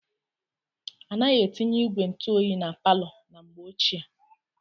Anaghị etinye ígwè ntụoyi na palọ na mgbe ochie.